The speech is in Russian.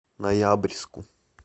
ноябрьску